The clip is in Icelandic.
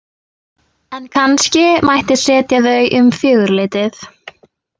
En kannski mætti setja þau um fjögurleytið.